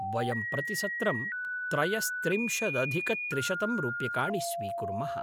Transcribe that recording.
वयं प्रतिसत्रं त्रयस्त्रिंशदधिकत्रिशतं रूप्यकाणि स्वीकुर्मः।